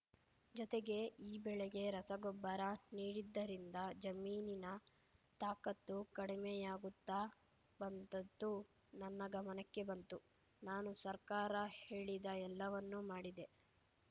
ಜೊತೆಗೆ ಈ ಬೆಳೆಗೆ ರಸಗೊಬ್ಬರ ನೀಡಿದ್ದರಿಂದ ಜಮೀನಿನ ತಾಕತ್ತು ಕಡಿಮೆಯಾಗುತ್ತಾ ಬಂದದ್ದು ನನ್ನ ಗಮನಕ್ಕೆ ಬಂತು ನಾನು ಸರ್ಕಾರ ಹೇಳಿದ ಎಲ್ಲವನ್ನೂ ಮಾಡಿದೆ